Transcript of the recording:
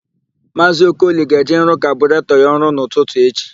Maazị Okoli ga-eje ịrụ kaburetọ ya ọrụ n'ụtụtụ echi.